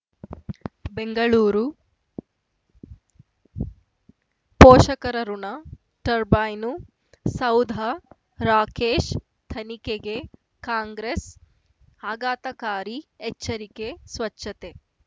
ಬೆಂಗಳೂರು ಪೋಷಕರಋಣ ಟರ್ಬೈನು ಸೌಧ ರಾಕೇಶ್ ತನಿಖೆಗೆ ಕಾಂಗ್ರೆಸ್ ಆಘಾತಕಾರಿ ಎಚ್ಚರಿಕೆ ಸ್ವಚ್ಛತೆ